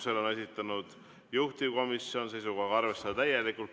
Selle on esitanud juhtivkomisjon seisukohaga arvestada täielikult.